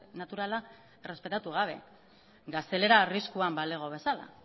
naturala errespetatu gabe gaztelera arriskuan balego bezala